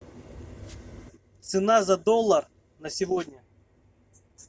цена за доллар на сегодня